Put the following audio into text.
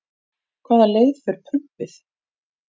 Hvaða leið fer prumpið?